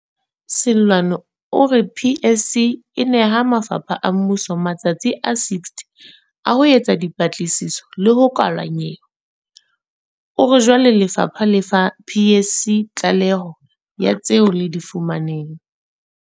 Seloane o re PSC e neha mafapha a mmuso matsatsi a 60 a ho etsa dipatlisiso le ho kwala nyewe. O re jwale lefapha le fa PSC tlaleho ya tseo le di fumaneng.